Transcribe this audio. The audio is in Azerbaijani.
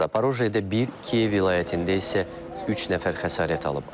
Zaporojyedə bir, Kiyev vilayətində isə üç nəfər xəsarət alıb.